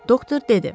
Doktor dedi.